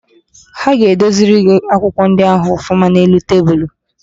Ha ga-edoziri gị akwụkwọ ndị ahụ ọfụma n'elu tebulu.